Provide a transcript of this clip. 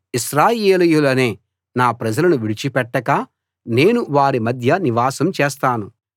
ఇశ్రాయేలీయులనే నా ప్రజలను విడిచి పెట్టక నేను వారి మధ్య నివాసం చేస్తాను